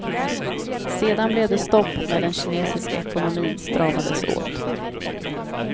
Sedan blev det stopp när den kinesiska ekonomin stramades åt.